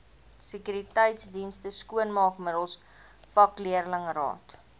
sekuriteitsdienste skoonmaakmiddels vakleerlingraad